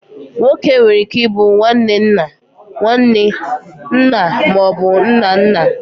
Nwoke nwere ike ịbụ nwanne nna, nwanne, nna ma ọ bụ nna nna.